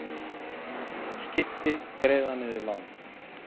Skipti greiða niður lán